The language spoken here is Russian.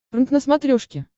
прнк на смотрешке